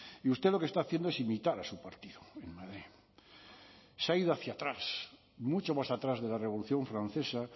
y usted lo que está haciendo es imitar a su partido en madrid se ha ido hacia atrás mucho más atrás de la revolución francesa